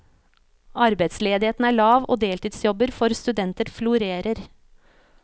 Arbeidsledigheten er lav og deltidsjobber for studenter florerer.